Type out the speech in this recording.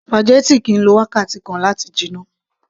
spaghetti kìí lo wákàtí kan láti jiná